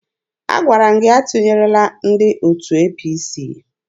Agwara m gị atụnyerela ndị otu APC!